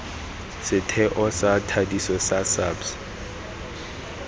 setheo sa thadiso sa sabs